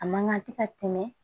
A man kan tɛ ka tɛmɛ